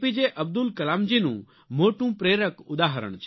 અબ્દુલ કલામજીનું મોટું પ્રેરક ઉદાહરણ છે